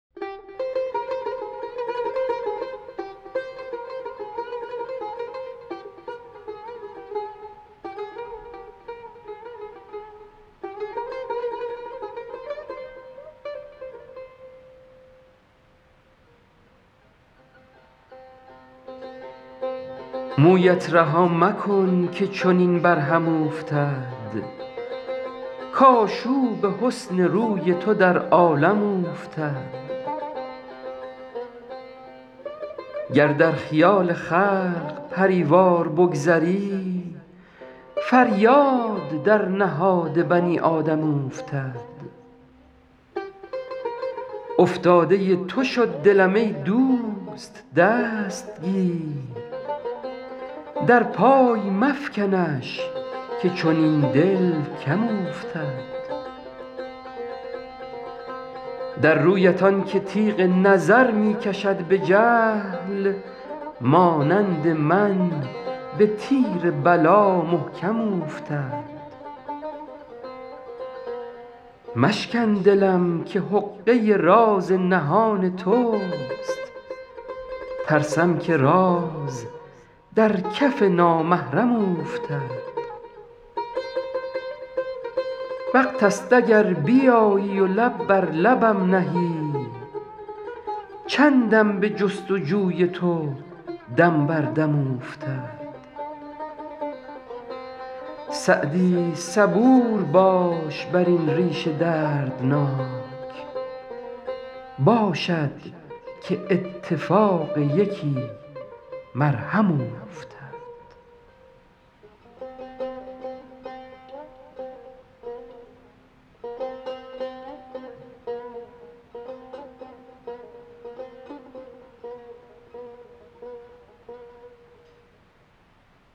مویت رها مکن که چنین بر هم اوفتد کآشوب حسن روی تو در عالم اوفتد گر در خیال خلق پری وار بگذری فریاد در نهاد بنی آدم اوفتد افتاده تو شد دلم ای دوست دست گیر در پای مفکنش که چنین دل کم اوفتد در رویت آن که تیغ نظر می کشد به جهل مانند من به تیر بلا محکم اوفتد مشکن دلم که حقه راز نهان توست ترسم که راز در کف نامحرم اوفتد وقت ست اگر بیایی و لب بر لبم نهی چندم به جست و جوی تو دم بر دم اوفتد سعدی صبور باش بر این ریش دردناک باشد که اتفاق یکی مرهم اوفتد